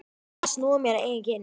Að snúa mér að eigin kyni.